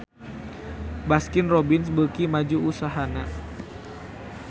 Baskin Robbins beuki maju usahana